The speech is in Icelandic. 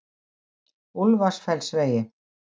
Úlfarfellsvegi